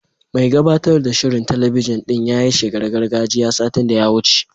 Mai gabatar da shirin talabijin din ta yi shigar gargajiya, satin da ya wuce.